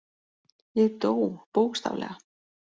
Ég dó, bókstaflega.